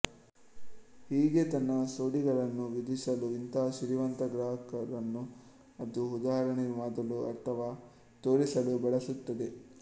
ಹೀಗೆ ತನ್ನ ಸೋಡಿಗಳನ್ನು ವಿಧಿಸಲು ಇಂತಹ ಸಿರಿವಂತ ಗ್ರಾಹಕರನ್ನು ಅದು ಉದಾಹರಣೆ ಮಾಡಲು ಅಥವಾ ತೋರಿಸಲು ಬಳಸುತ್ತದೆ